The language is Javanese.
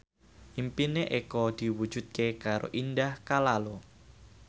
impine Eko diwujudke karo Indah Kalalo